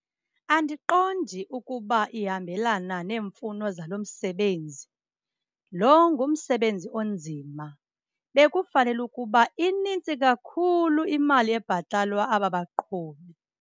Andiqondi ukuba ihambelana neemfuno zalo msebenzi. Lo ngumsebenzi onzima, bekufanele ukuba inintsi kakhulu imali ebhatalwa aba baqhubi.